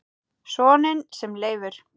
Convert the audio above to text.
Soninn sem Leifur